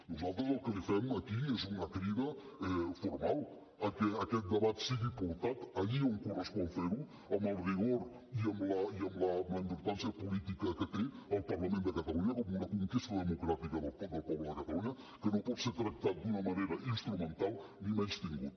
nosaltres el que li fem aquí és una crida formal a que aquest debat sigui portat allí on correspon fer ho amb el rigor i amb la importància política que té el parlament de catalunya com una conquesta democràtica del poble de catalunya que no pot ser tractat d’una manera instrumental ni menystingut